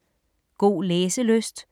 God læselyst.